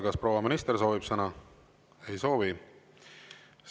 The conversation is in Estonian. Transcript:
Kas proua minister soovib sõna?